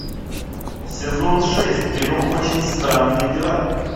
сезон шесть кино очень странные дела